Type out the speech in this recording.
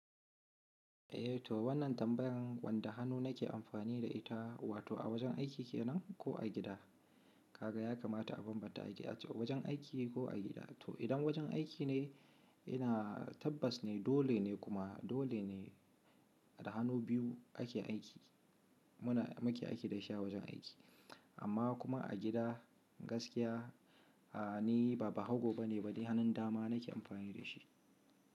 Eh to wannan tambayan wanda hannu nake amfani da ita, wato a wajen aiki kenan ko a gida? Kaga ya kamata a bambanta aiki, a wajen aiki ko a gida. To idan wajen aiki ne, ina tabbas ne dole ne kuma dole ne da hannu biyu ake aiki. Muna muke aiki da shi a wajen aiki. Amma kuma a gida gaskiya, ni ba bahago ba ne, bari hannun dama nake amfani da shi.